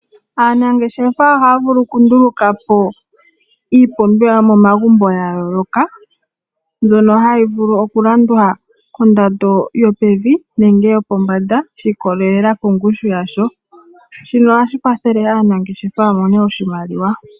Aanangeshefa ohaya vulu okundulukapo iipumbiwa yomomagumbo ya yooloka mbyono hayi vulu okulandwa kondando yo pevi nenge yo pombanda shiikolelela kongushu yasho shino oha shi kwathele aanangeshefa ya mone oshimaliwa.